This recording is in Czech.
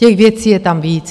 Těch věcí je tam víc.